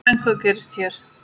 En hvað gerist hér?